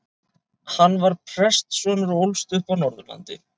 Hann var prestssonur og ólst upp á Norðurlandi.